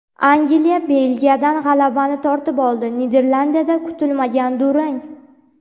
Angliya Belgiyadan g‘alabani tortib oldi, Niderlandiyada kutilmagan durang.